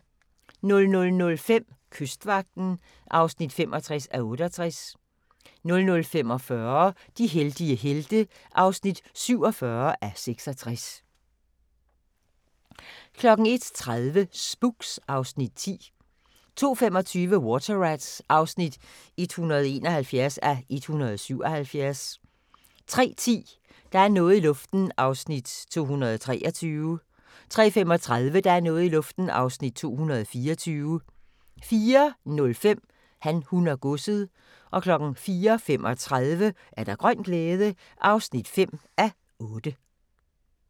00:05: Kystvagten (65:68) 00:45: De heldige helte (47:66) 01:30: Spooks (Afs. 10) 02:25: Water Rats (171:177) 03:10: Der er noget i luften (223:320) 03:35: Der er noget i luften (224:320) 04:05: Han, hun og godset 04:35: Grøn glæde (5:8)